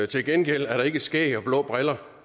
til gengæld er der ikke skæg og blå briller